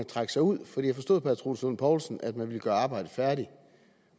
trække sig ud for jeg forstod på herre troels lund poulsen at man ville gøre arbejdet færdigt